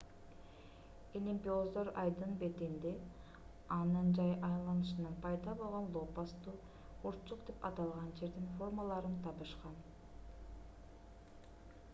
илимпоздор айдын бетинде анын жай айланышынан пайда болгон лопасттуу урчук деп аталган жердин формаларын табышкан